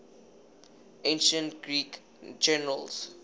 ancient greek generals